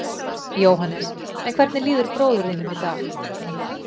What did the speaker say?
Jóhannes: En hvernig líður bróður þínum í dag?